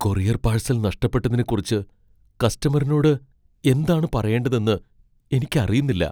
Courier parcel നഷ്ടപ്പെട്ടതിനെക്കുറിച്ച് കസ്റ്റമറിനോട് എന്താണ് പറയേണ്ടതെന്ന് എനിക്കറിയുന്നില്ല.